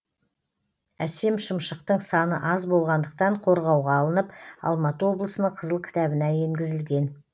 әсем шымшықтың саны аз болғандықтан қорғауға алынып алматы облысының қызыл кітабына енгізілген